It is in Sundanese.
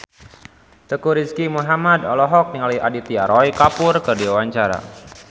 Teuku Rizky Muhammad olohok ningali Aditya Roy Kapoor keur diwawancara